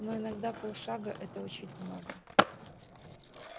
но иногда полшага это очень много